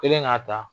Kelen k'a ta